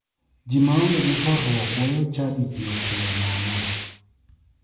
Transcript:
Ji maonge gi horruok weyo chadi piyo piyo nono.